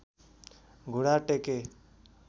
घुँडा टेके